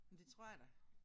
Men det tror jeg da